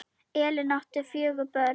Elín átti fjögur börn.